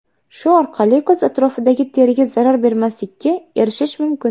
Shu orqali ko‘z atrofidagi teriga zarar bermaslikka erishish mumkin.